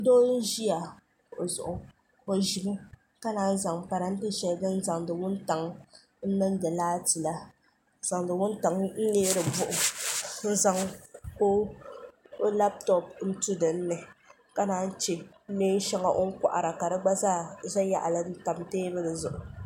do n ʒɛya o zuɣ' ʒɛmi ka naayi zaŋ parintɛ ti tali din zaŋ ni wuntaŋa n nɛɣisi laatila suni wuntaŋa n nindi buɣim n zaŋ pa o labitobi tu dini na yi chɛ nɛɛ nyɛŋa o kohira gba zaa tabi yaɣili tɛbuli zuɣ'